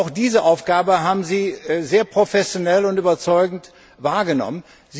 Auch diese Aufgabe haben Sie sehr professionell und überzeugend wahrgenommen.